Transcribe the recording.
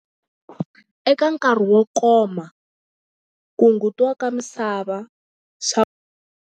Eka nkarhi wo koma ku hungutiwa ka misava swa.